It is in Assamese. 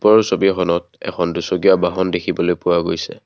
ওপৰৰ ছবিখনত এখন দুচকীয়া বাহন দেখিবলৈ পোৱা গৈছে।